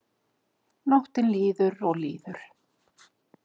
Nóttin líður og líður.